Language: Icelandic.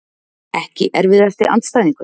Ekki erfiðasti andstæðingur?